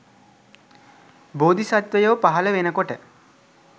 බෝධි සත්ත්වයෝ පහළ වෙන කොට